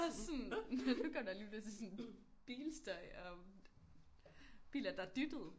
Ja jeg er også sådan nu går der lige pludselig sådan bilstøj og biler der dyttede